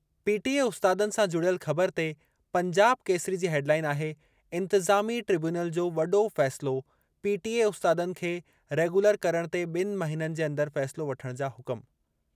PTA उस्तादनि सां जुड़ियल ख़बर ते पंजाब केसरी जी हेडलाइन आहे इंतिज़ामी ट्रिब्यूनल जो वॾो फ़ैसिलो, पीटीए उस्तादनि खे रेगुलर करणु ते बि॒नि महिननि जे अंदरि फ़ैसिलो वठणु जा हुकुम।